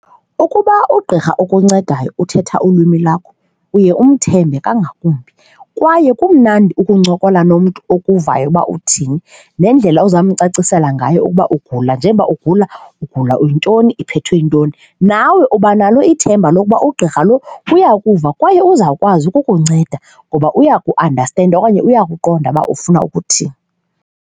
Ukuba ugqirha okuncedayo uthetha ulwimi lwakho uye umthembe kangakumbi kwaye kumnandi ukuncokola nomntu okuvayo uba uthini, nendlela ozawumcacisela ngayo ukuba ugula njengoba ugula ugula yintoni, uphethwe yintoni, nawe uba nalo ithemba lokuba ugqirha lo uya kuva kwaye uzawukwazi ukukunceda ngoba uya kuandastenda okanye uyakuqonda uba ufuna ukuthini.